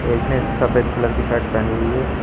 एक ने सफेद कलर की शर्ट पहनी हुई है।